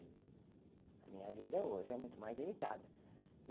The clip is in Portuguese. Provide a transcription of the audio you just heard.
A minha vida hoje é muito mais limitada.